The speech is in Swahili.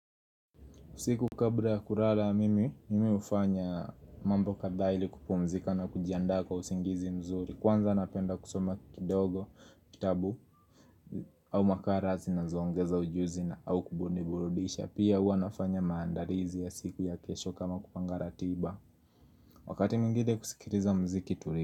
Siku kabla ya kurara mimi ufanya mambo kadha ili kupumzika na kujiandaa kwa usingizi mzuri. Kwanza napenda kusoma kidogo kitabu au makara zinazoongeza ujuzi au kuniburudisha. Pia hua nafanya maandalizi ya siku ya kesho kama kupanga ratiba. Wakati mwingine kusikiriza mziki turi.